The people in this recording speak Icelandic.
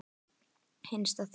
Hinsta þín.